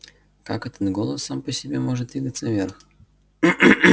как этот голос сам по себе может двигаться вверх